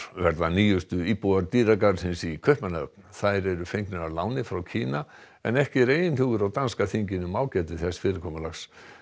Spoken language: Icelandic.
verða nýjustu íbúar í Kaupmannahöfn þær eru fengnar að láni frá Kína en ekki er einhugur á danska þinginu um ágæti þessa fyrirkomulags